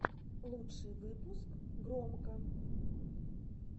лучший выпуск громко